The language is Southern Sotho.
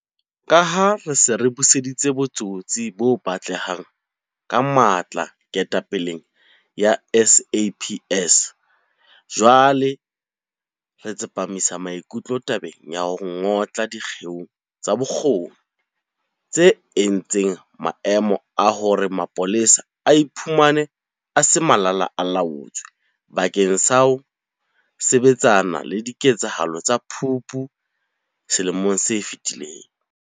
Ka ha re se re buseditse botsitso bo batlehang ka matla ketapeleng ya SAPS, jwale re tsepamisitse maikutlo tabeng ya ho ngotla dikgeo tsa bokgoni tse entseng maemong a hore mapolesa a iphumane a se Malala-a-laotswe bakeng sa ho sebetsana le diketsahalo tsa Phupu selemong se fetileng.